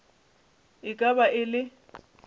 e ka ba e le